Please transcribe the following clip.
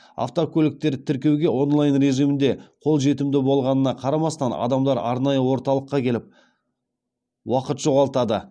автокөліктерді тіркеуге онлайн режимінде қол жетімді болғанына қарамастан адамдар арнайы орталыққа келіп уақыт жоғалтады